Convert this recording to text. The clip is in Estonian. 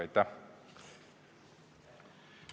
Aitäh!